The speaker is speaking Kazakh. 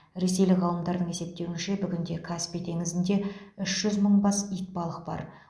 ресейлік ғалымдардың есептеуінше бүгінде каспий теңізінде үш жүз мың бас итбалық бар